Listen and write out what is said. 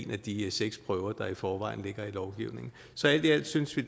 af de seks prøver der i forvejen ligger i lovgivningen så alt i alt synes vi